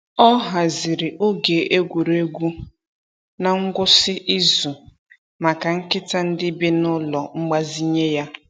Ọ haziri oge egwuregwu n’ngwụsị izu maka nkịta ndị bi n’ụlọ mgbazinye ya.